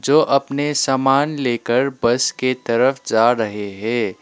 जो अपने सामान लेकर बस के तरफ जा रहे हैं।